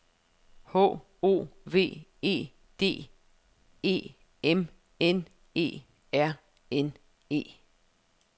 H O V E D E M N E R N E